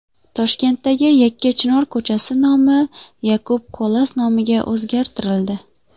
Toshkentdagi Yakkachinor ko‘chasi nomi Yakub Kolas nomiga o‘zgartirildi.